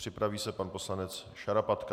Připraví se pan poslanec Šarapatka.